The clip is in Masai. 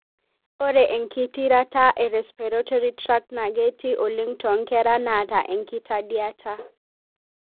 ore engitirata e respiratory tract na ketii oleng tonkera naata enkitandiata.